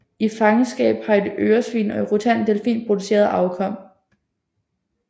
I fangenskab har et øresvin og en rutandet delfin produceret afkom